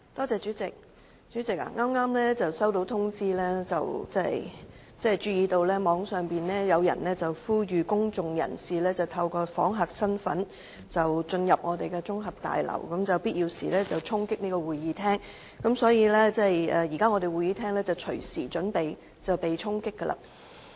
主席，我剛剛接獲通知，網上有人呼籲公眾人士以訪客身份進入立法會綜合大樓，並在必要時衝擊會議廳，所以現時會議廳隨時會被衝擊。